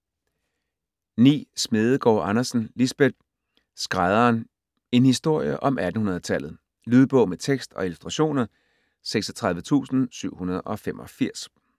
Smedegaard Andersen, Lisbeth: Skrædderen: en historie om 1800-tallet Lydbog med tekst og illustrationer 36785